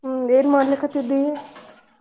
ಹ್ಮ್ ಏನ್ ಮಾಡ್ಲಿಕತ್ತಿದ್ದಿ?